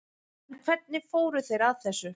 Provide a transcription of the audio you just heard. En hvernig fóru þeir að þessu?